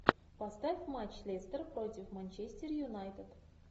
поставь матч лестер против манчестер юнайтед